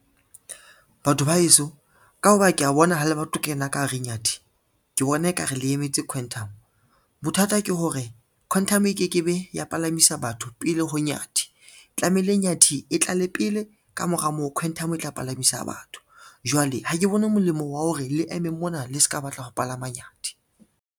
Batho ba heso, ka ho ba ke a bona ho le ba tlo kena ka hare inyathi ke bona e ka re le emetse quantum, bothata ke hore quantum e ke ke be ya palamisa batho pele ho inyathi, tlamehile inyathi e tlale pele ka mora moo quantum e tla palamisa batho. Jwale ha ke bone molemo wa hore le eme mona le se ka batla ho palama nyathi.